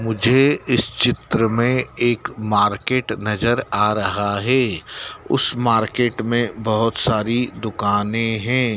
मुझे इस चित्र में एक मार्केट नजर आ रहा है उस मार्केट में बहुत सारी दुकानें हैं।